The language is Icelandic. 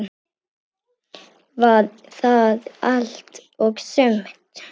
Var það allt og sumt?